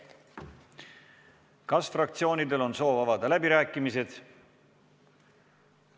Kas fraktsioonidel on soov avada läbirääkimised?